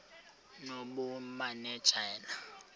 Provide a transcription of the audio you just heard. nobumanejala